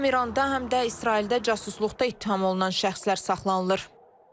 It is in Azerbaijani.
Həm İranda, həm də İsraildə casusluqda ittiham olunan şəxslər saxlanılır.